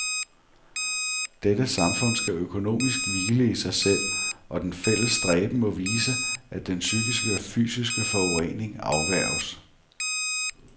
Dette samfund skal økonomisk hvile i sig selv, og den fælles stræben må vise, at den psykiske og fysiske forurening afværges.